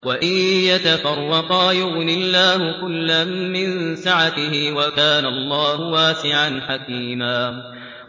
وَإِن يَتَفَرَّقَا يُغْنِ اللَّهُ كُلًّا مِّن سَعَتِهِ ۚ وَكَانَ اللَّهُ وَاسِعًا حَكِيمًا